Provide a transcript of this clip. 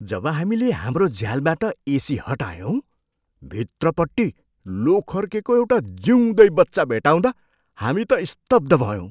जब हामीले हाम्रो झ्यालबाट एसी हटायौँ, भित्रपट्टि लोखर्केको एउटा जिउँदै बच्चा भेट्टाउँदा हामी त स्तब्ध भयौँ।